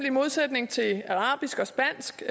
i modsætning til arabisk og spansk